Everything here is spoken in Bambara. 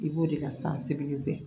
I b'o de ka